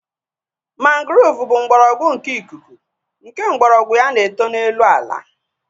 Mangrove bụ mgbọrọgwụ nke ikuku nke mgbọrọgwụ ya na-eto n'elu ala